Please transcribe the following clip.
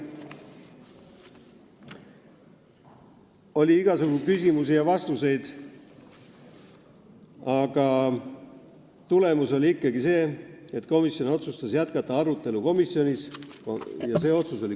Oli igasugu küsimusi ja vastuseid, aga tulemus oli ikkagi selline, et komisjon otsustas arutelu jätkata .